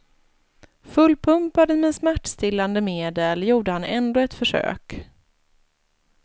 Fullpumpad med smärtstillande medel gjorde han ändå ett försök.